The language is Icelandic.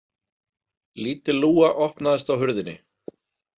Lítil lúga opnaðist á hurðinni.